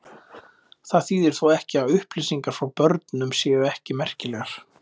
Það þýðir þó ekki að upplýsingar frá börnum séu ekki merkilegar.